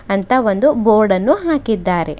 ಅಂತ ಒಂದು ಬೋರ್ಡ ಅನ್ನು ಹಾಕಿದ್ದಾರೆ.